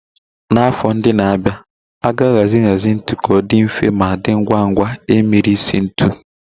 Na afọ ndị na-abịa, a ga-ahazi nhazi ntu ka ọ dị mfe ma dị ngwa ngwa imiri isi ntu